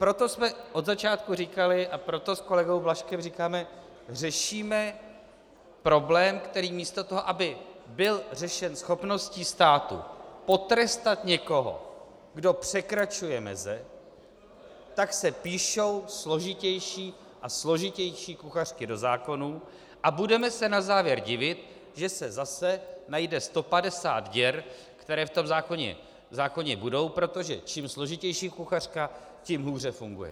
Proto jsme od začátku říkali a proto s kolegou Blažkem říkáme: řešíme problém, který místo toho, aby byl řešen schopností státu potrestat někoho, kdo překračuje meze, tak se píší složitější a složitější kuchařky do zákonů, a budeme se na závěr divit, že se zase najde 150 děr, které v tom zákoně budou, protože čím složitější kuchařka, tím hůře funguje.